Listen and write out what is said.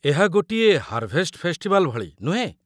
ଏହା ଗୋଟିଏ harvest festival ଭଳି, ନୁହେଁ?